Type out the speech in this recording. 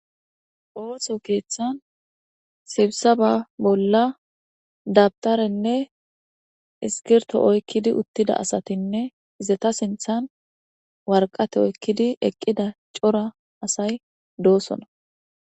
Osso keeththan sibisabaan bolla dawutarenne bi'irenne oyikidi uttida asatinne izeta sinththen waraqatta oyikidi eqida daro Asati de'osonna.